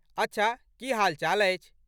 अच्छा, की हालचाल अछि?